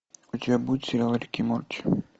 у тебя будет сериал рик и морти